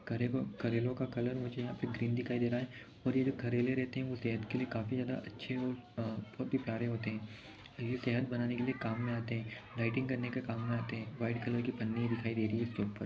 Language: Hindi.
करेलो का कलर मुझे यहाँ ग्रीन दिखाई दे रहा हैं और जो ये करेले रहते हैं वो सेहत के लिए काफी ज्यादा अच्छे हो आ बहुत ही प्यारे होते हैं और ये सेहत बनाने के लिए काम में आते हैं डाइटिंग करने के काम में आते हैं वाइट कलर की पन्नी दिखाई दे रही हैं इसके ऊपर--